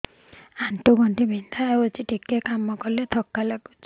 ଆଣ୍ଠୁ ଗଣ୍ଠି ବିନ୍ଧା ହେଉଛି ଟିକେ କାମ କଲେ ଥକ୍କା ଲାଗୁଚି